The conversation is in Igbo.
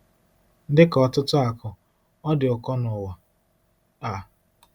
Dị ka ọtụtụ akụ, ọ dị ụkọ nụwa a.